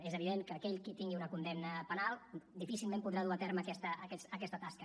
és evident que aquell qui tingui una condemna penal difícilment podrà dur a terme aquesta tasca